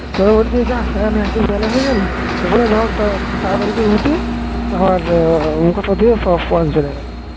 তারপর বলছি যা, এত বেলা হয়ে গেল তারপর আমি তাড়াতাড়ি করে উঠি মুখ হাত পা ধুয়ে পড়াতে চলে গেলাম।